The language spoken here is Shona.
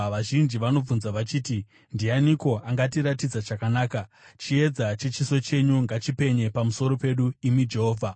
Vazhinji vanobvunza vachiti, “Ndianiko angatiratidza chakanaka?” Chiedza chechiso chenyu ngachipenye pamusoro pedu, imi Jehovha.